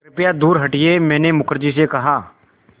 कृपया दूर हटिये मैंने मुखर्जी से कहा